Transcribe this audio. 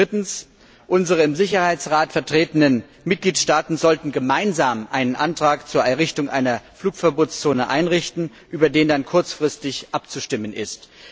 Drittens Unsere im Sicherheitsrat vertretenen Mitgliedstaaten sollten gemeinsam einen Antrag zur Errichtung einer Flugverbotszone einreichen, über den dann kurzfristig abzustimmen ist.